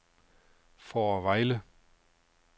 Fårevejle